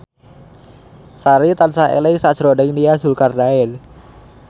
Sari tansah eling sakjroning Nia Zulkarnaen